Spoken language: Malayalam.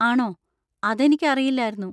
ആണോ? അതെനിക്ക് അറിയില്ലാർന്നു!